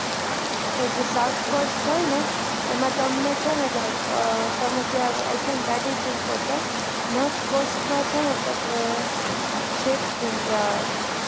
તો જે south cost હોય ને એમાં તમને છે ને તમે I think ગાડી લઇ ને પહોચો north cost માં છે ને તમને ship થી જવા નું